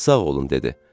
Sağ olun dedi.